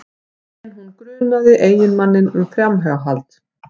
En hún grunaði eiginmanninn um framhjáhald